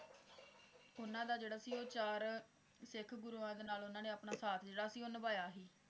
ਉਹਨਾਂ ਦਾ ਜਿਹੜਾ ਸੀ ਉਹ ਚਾਰ ਸਿੱਖ ਗੁਰੂਆਂ ਦੇ ਨਾਲ ਉਹਨਾਂ ਨੇ ਆਪਣਾ ਸਾਥ ਜਿਹੜਾ ਸੀ ਉਹ ਨਿਭਾਇਆ ਸੀ